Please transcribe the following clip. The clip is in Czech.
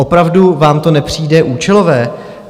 Opravdu vám to nepřijde účelové?